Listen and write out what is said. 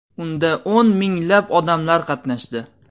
Unda o‘n minglab odamlar qatnashdi.